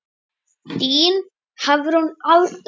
Þín Hafrún Alda.